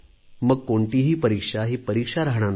मग कोणतीही परीक्षा ही परीक्षा राहणार नाही